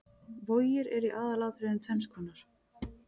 Vogir eru í aðalatriðum tvenns konar.